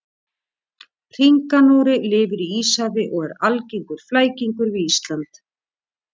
Hringanóri lifir í Íshafi og er algengur flækingur við Ísland.